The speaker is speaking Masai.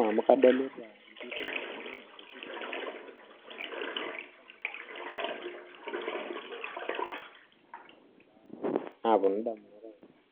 amuu kadolita inkibandani tenebo oltunganak kumook